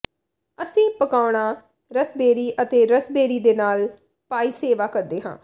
ਅਸੀਂ ਪਕਾਉਣਾ ਰਸਬੇਰੀ ਅਤੇ ਰਸਬੇਰੀ ਦੇ ਨਾਲ ਪਾਈ ਸੇਵਾ ਕਰਦੇ ਹਾਂ